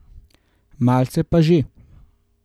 Malce pa že.